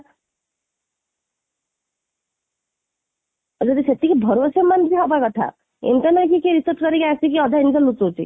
ଆଉ ଯଦି ସେତିକି ହବା କଥା, internet ଟିକେ ବି research କରିକି ଆସିକି ଅଧା ଜିନିଷ ଲୁଚଉଛି